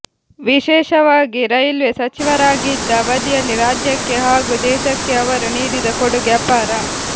ವಿಶೇಷವಾಗಿ ರೈಲ್ವೆ ಸಚಿವರಾಗಿದ್ದ ಅವಧಿಯಲ್ಲಿ ರಾಜ್ಯಕ್ಕೆ ಹಾಗೂ ದೇಶಕ್ಕೆ ಅವರು ನೀಡಿದ ಕೊಡುಗೆ ಅಪಾರ